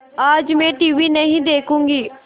आज मैं टीवी नहीं देखूँगी